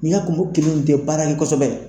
N y'a kumu kelen kɛ baara ye kosɛbɛ.